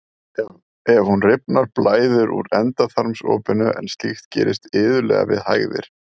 ef hún rifnar blæðir úr endaþarmsopinu en slíkt gerist iðulega við hægðir